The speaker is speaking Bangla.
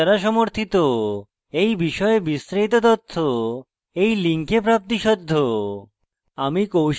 এই বিষয়ে বিস্তারিত তথ্য এই link প্রাপ্তিসাধ্য